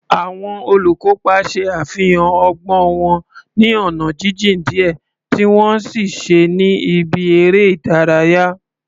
Àwọn olùkópa ṣe àfihàn ọgbọ́n wọn ní ọ̀nà jíjìn díẹ̀ tí wọ́n ń ṣiṣẹ́ ní ibi eré ìdárayá.